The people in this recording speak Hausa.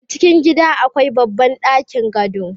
a cikin gida akwai babban ɗakin gado